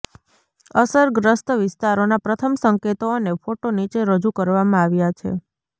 અસરગ્રસ્ત વિસ્તારોના પ્રથમ સંકેતો અને ફોટા નીચે રજૂ કરવામાં આવ્યા છે